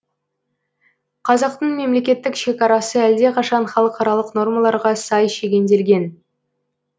қазақтың мемлекеттік шекарасы әлдеқашан халықаралық нормаларға сай шегенделген